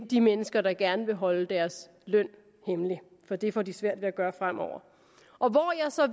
de mennesker der gerne vil holde deres løn hemmelig for det får de svært ved at gøre fremover og hvor